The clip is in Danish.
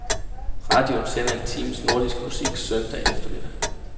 Radioen sender en times nordisk musik søndag eftermiddag.